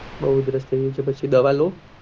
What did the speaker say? બહુ ઉદ્રષ થઇ ગયી છે તો પછી દવા લો